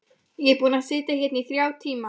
Ég er búinn að sitja hérna í þrjá tíma.